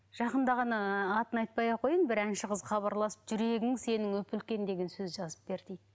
жақында ғана атын айтпай ақ қояйын бір әнші қыз хабарласып жүрегің сенің үп үлкен деген сөз жазып бер дейді